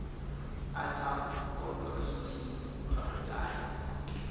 ḓa tsha authority to apply